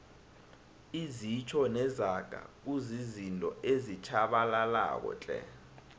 izitjho nezaga kuzizinto ezitjhabalalako tle